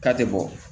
K'a tɛ bɔ